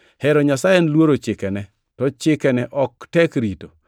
Hero Nyasaye en luoro chikene, to chikene ok tek rito